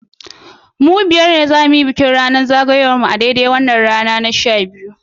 Mu biyar ne za su yi bikin zagayowar ranar haihuwar mu a daidai wannan rana su sha biyu